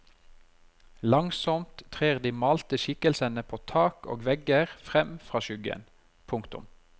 Langsomt trer de malte skikkelsene på tak og vegger frem fra skyggen. punktum